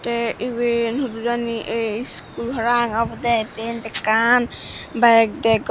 tey iben hudu jani ei iskul parahang obodey iben ekkan byk degong.